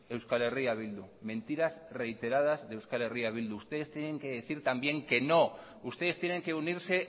eh bildu ustedes tienen que decir también que no ustedes tienen que unirse